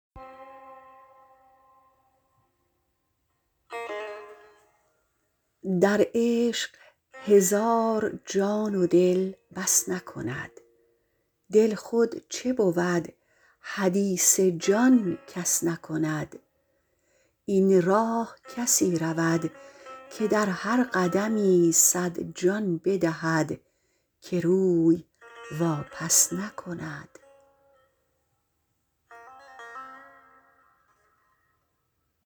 در عشق هزار جان و دل بس نکند دل خود چه بود حدیث جان کس نکند این راه کسی رود که در هر قدمی صد جان بدهد که روی واپس نکند